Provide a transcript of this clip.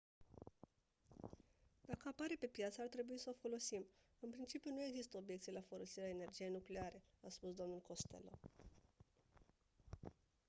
dacă apare pe piață ar trebui s-o folosim în principiu nu există obiecții la folosirea energiei nucleare a spus dl costello